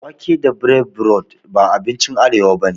Wake da breaburodi ba abinci arewa bane